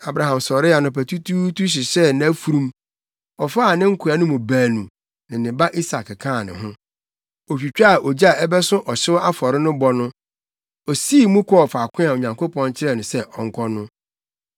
Abraham sɔree anɔpatutuutu hyehyɛɛ nʼafurum. Ɔfaa ne nkoa no mu baanu ne ne ba Isak kaa ne ho. Otwitwaa ogya a ɛbɛso ɔhyew afɔre no bɔ no, osii mu kɔɔ faako a Onyankopɔn kyerɛɛ no sɛ ɔnkɔ no.